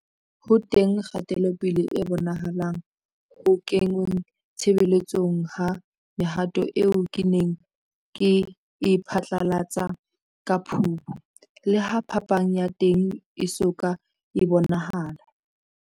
Ho teng kgatelopele e bonahalang ho kengweng tshebetsong ha mehato eo ke neng ke e phatlalatse ka Phupu, leha phapang ya teng e so ka e bonahala.